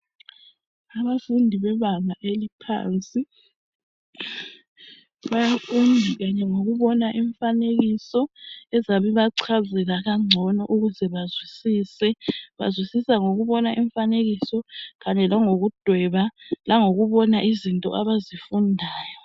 Abafundi bebanga eliphansi bayafunda kanye ngokubona imifanekiso ezabe ibacazela kangcono ukuze bazwisise. Bazwisisa ngokubona imifanekiso kanye langokudweba langokubona izinto abazifundayo.